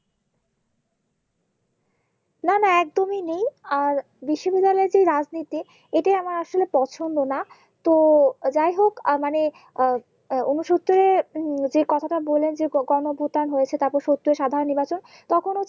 না না একদমই নেই আর এর যে রাজনীতি এটি আমার আসলে পছন্দ না তো যাই হোক আহ মানে আহ আহ ঊনসত্তরের যে কথাটা বললেন যে গণপ্রদান হয়েছে তারপর সত্য সাধারণ নির্বাচন তখন